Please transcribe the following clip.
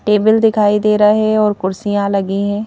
Table दिखाई दे रहा है और कुर्सियां लगी हैं।